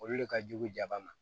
Olu de ka jugu jama ma